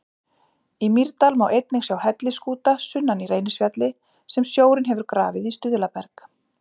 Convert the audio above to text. Í Mýrdal má einnig sjá hellisskúta sunnan í Reynisfjalli sem sjórinn hefur grafið í stuðlaberg.